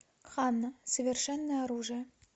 ханна совершенное оружие